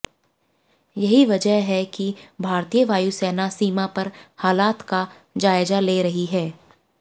यही वजह है कि भारतीय वायुसेना सीमा पर हालात का जायजा ले रही है